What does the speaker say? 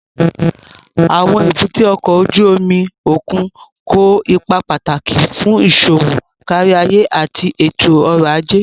Àwọn èbúté ọkọ̀ ojú omi òkun kó ipa pàtàkì fún iṣowo káríayé àti ètò ọ̀rọ̀ ajé